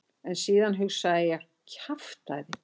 En síðan hugsaði ég: kjaftæði.